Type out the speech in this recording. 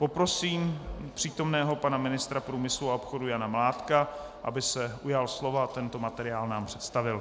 Poprosím přítomného pana ministra průmyslu a obchodu Jana Mládka, aby se ujal slova a tento materiál nám představil.